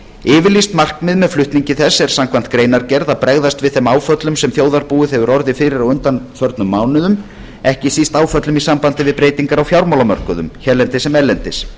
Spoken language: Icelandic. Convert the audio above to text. yfirlýst markmið með flutningi þess er samkvæmt greinargerð að bregðast við þeim áföllum sem þjóðarbúið hefur orðið fyrir á undanförnum mánuðum ekki síst áföllum í sambandi við breytingar á fjármálamörkuðum hérlendis sem erlendis